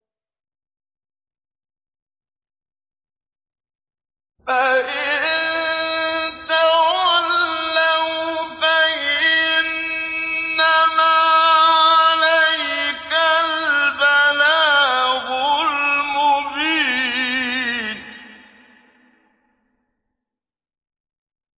فَإِن تَوَلَّوْا فَإِنَّمَا عَلَيْكَ الْبَلَاغُ الْمُبِينُ